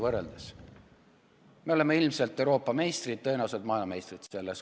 Me oleme selles ilmselt Euroopa meistrid, aga tõenäoliselt ka maailmameistrid.